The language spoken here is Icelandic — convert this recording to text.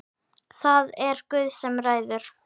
Það er Guð sem ræður.